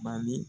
Bali